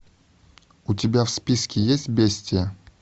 у тебя в списке есть бестия